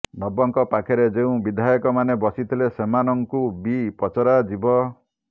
ନବଙ୍କ ପାଖରେ ଯେଉଁ ବିଧାୟକମାନେ ବସିଥିଲେ ସେମାନଙ୍କୁ ବି ପଚରାଯିବ